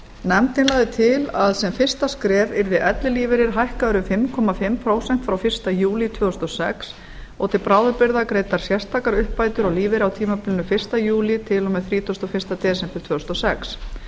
nefndin lagði til að sem fyrsta skref yrði ellilífeyri hækkaður um fimm og hálft prósent frá fyrsta júlí tvö þúsund og sex og til bráðabirgða greiddar sérstakar uppbætur á lífeyri á tímabilinu fyrsta júlí til og með þrítugasta og fyrsta desember tvö þúsund og sex